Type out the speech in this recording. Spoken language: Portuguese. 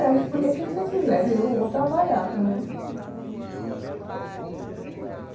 É, escolher o que você quiser, eu vou trabalhar, que eu não